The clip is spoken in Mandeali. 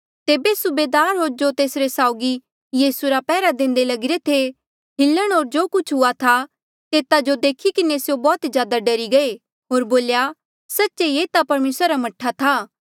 तेबे सूबेदार होर जो तेस साउगी यीसू रा पैहरा देंदे लगिरे थे हिलण होर जो कुछ हुआ था तेता जो देखी किन्हें स्यों बौह्त ज्यादा डरी गये होर बोल्या सच्चे ये ता परमेसरा रा मह्ठा था